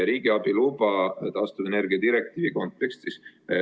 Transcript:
Riigiabiluba taastuvenergia direktiivi kontekstis.